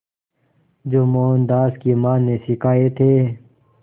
जो मोहनदास की मां ने सिखाए थे